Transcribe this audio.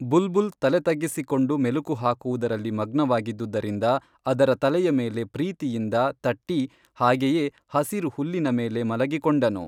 ಬುಲ್ಬುಲ್ ತಲೆತಗ್ಗಿಸಿಕೊಂಡು ಮೆಲುಕುಹಾಕುವುದರಲ್ಲಿ ಮಗ್ನವಾಗಿದ್ದುದರಿಂದ ಅದರ ತಲೆಯ ಮೇಲೆ ಪ್ರೀತಿಯಿಂದ ತಟ್ಟಿ ಹಾಗೆಯೇ ಹಸಿರು ಹುಲ್ಲಿನ ಮೇಲೆ ಮಲಗಿ ಕೊಂಡನು